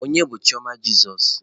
Onye bụ Chioma Jesus?